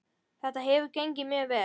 Þetta hefur gengið mjög vel.